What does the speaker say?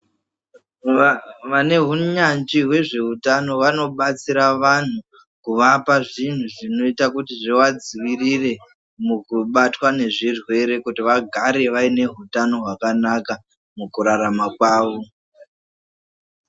Vane hunyanzvi hwezveutano vanobatsira vantu kuvapa zvinhu zvinoita kuti zvivadzivirire mukubatwa nezvirwere kuti vagare vaine utano hwakanaka mukurarama kwavo.